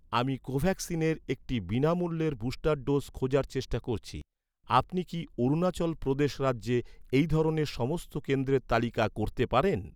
আমি কোভ্যাক্সিনের একটি বিনামূল্যের বুস্টার ডোজ খোঁজার চেষ্টা করছি। আপনি কি অরুণাচল প্রদেশ রাজ্যে এই ধরনের সমস্ত কেন্দ্রের তালিকা করতে পারেন?